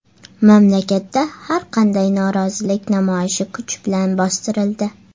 Mamlakatda har qanday norozilik namoyishi kuch bilan bostirildi.